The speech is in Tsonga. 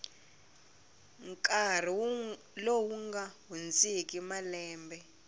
nkarhi lowu nga hundziki malembe